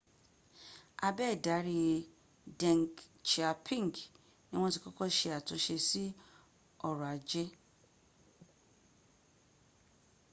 abe idari deng xiaoping ni wọn ti kọ́kọ́ sẹ àtúnsẹ sí ọrọ̀ ajẹ́